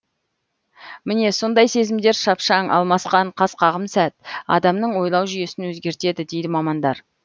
міне сондай сезімдер шапшаң алмасқан қас қағым сәт адамның ойлау жүйесін өзгертеді дейді мамандар